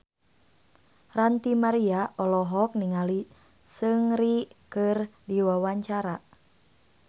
Ranty Maria olohok ningali Seungri keur diwawancara